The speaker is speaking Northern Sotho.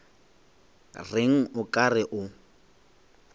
reng o ka re o